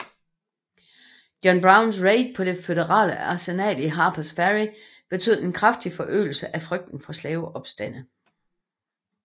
John Browns raid på det føderale arsenal i Harpers Ferry betød en kraftig forøgelse af frygten for slaveopstande